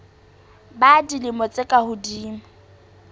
ba dilemo tse ka hodimo